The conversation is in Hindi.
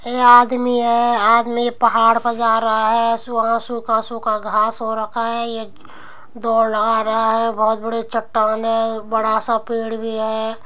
ए आदमी ऐ। आदमी पहाड़ पर जा रहा है। सुहा सूखा सूखा घास हो रखा है। ये दौड़ आ रहा है। बहुत बड़े चट्टान है। बड़ा सा पेड़ भी है।